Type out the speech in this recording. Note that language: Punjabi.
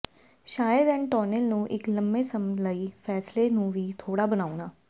ਸ਼ਾਇਦ ਐਨਟੋਨਿਓ ਨੂੰ ਇੱਕ ਲੰਬੇ ਸਮ ਲਈ ਫ਼ੈਸਲੇ ਨੂੰ ਵੀ ਥੋੜਾ ਬਣਾਉਣ